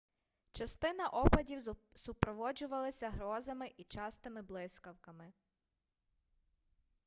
частина опадів супроводжувалася грозами й частими блискавками